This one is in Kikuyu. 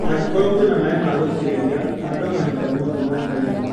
Angĩkorwo kwĩna maĩ magũitĩrĩria ,handa o mahinda mothe mwakainĩ.